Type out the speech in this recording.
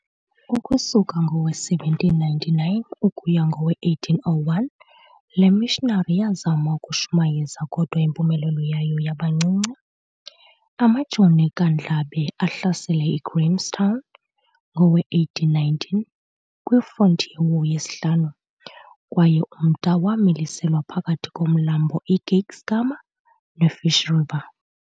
Ukusuka ngowe-1799 ukuya kowe-1801 lemissionary yazama ukushumayeza kodwa impumelelo yayo yabancinci. Amajoni kaNdlambe ahlasele iGrahamstown ngowe1819 kwi frontier war yesihlanu kwaye umda wamiliselwa phakathi komlambo iKeiskamma ne-Fish river.